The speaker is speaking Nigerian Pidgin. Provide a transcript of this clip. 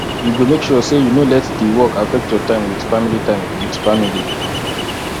you go make sure sey you no let di work affect your time wit family time wit family